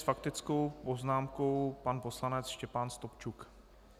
S faktickou poznámkou pan poslanec Štěpán Stupčuk.